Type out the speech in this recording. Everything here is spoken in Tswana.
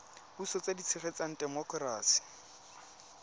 puso tse di tshegetsang temokerasi